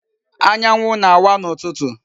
Anyanwu na-awa n'ututu.